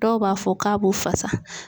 Dɔw b'a fɔ k'a b'u fasa.